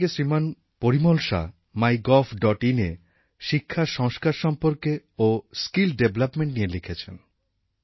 থানে থেকে শ্রীমান পরিমল শা mygovinএ শিক্ষার সংস্কার সম্পর্কে লিখেছেন কারিগরী দক্ষতা স্কিলড ডেভেলপমেন্ট নিয়ে লিখেছেন